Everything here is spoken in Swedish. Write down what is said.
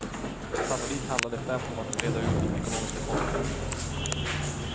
Sannolikt handlar det främst om att reda ut de ekonomiska konsekvenserna.